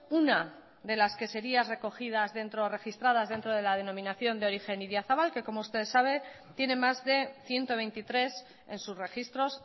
una de las que sería registradas dentro de la denominación de origen idiazabal que como usted sabe tiene ciento veintitrés en sus registros